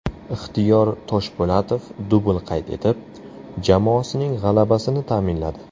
Ixtiyor Toshpo‘latov dubl qayd etib, jamoasining g‘alabasini ta’minladi.